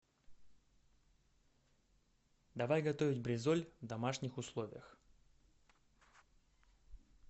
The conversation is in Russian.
давай готовить бризоль в домашних условиях